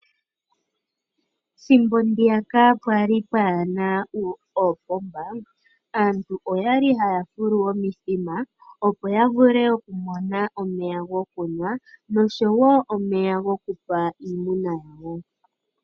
Ethimbo ndiyaka pwali pwaana oopomba aantu oyali haya fulu omithima opo yavule okumona omeya goku nwa nomeya goku pa iimuna yawo.